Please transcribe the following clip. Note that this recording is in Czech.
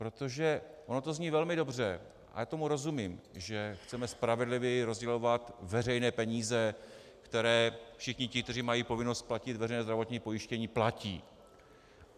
Protože ono to zní velmi dobře, a já tomu rozumím, že chceme spravedlivěji rozdělovat veřejné peníze, které všichni ti, kteří mají povinnost platit veřejné zdravotní pojištění, platí.